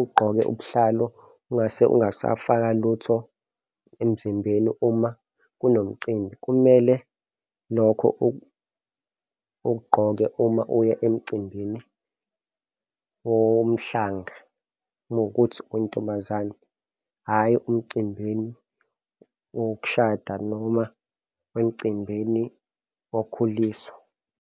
ugqoke ubuhlalo ungasafaka lutho emzimbeni. Uma kunomcimbi, kumele lokho ukgqoke uma uya emcimbini womhlanga mawukuthi uyintombazane, hhayi umcimbini wokushada noma emcimbini wokukhuliswa.